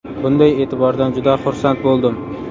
Bunday e’tibordan juda xursand bo‘ldim.